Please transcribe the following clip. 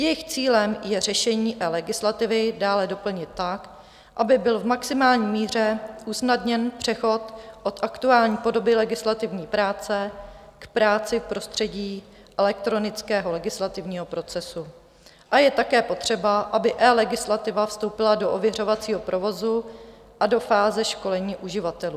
Jejich cílem je řešení eLegislativy dále doplnit tak, aby byl v maximální míře usnadněn přechod od aktuální podoby legislativní práce k práci v prostředí elektronického legislativního procesu, a je také potřeba, aby eLegislativa vstoupila do ověřovacího provozu a do fáze školení uživatelů.